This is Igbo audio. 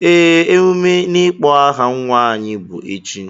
Ee, emume n'ịkpọ aha nwa anyị bụ echi.